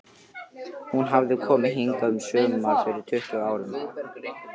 Hún hafði komið hingað um sumar fyrir tuttugu árum.